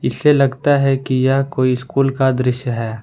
इससे लगता है कि यह कोई स्कूल का दृश्य है।